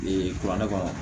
kuranɛ kɔnɔ